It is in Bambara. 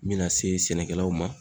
N mina se sɛnɛkɛlaw ma